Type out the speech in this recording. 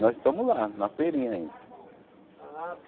Nós estamos lá, na feirinha ainda.